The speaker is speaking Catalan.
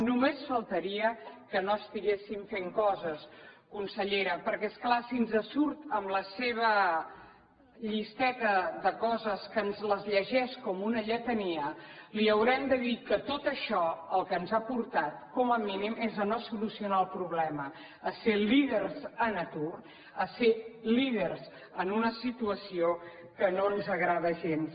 només faltaria que no estiguessin fent coses consellera perquè és clar si ens surt amb la seva llisteta de coses que ens les llegeix com una lletania li haurem de dir que tot això al que ens ha portat com a mínim és a no solucionar el problema a ser líders en atur a ser líders en una situació que no ens agrada gens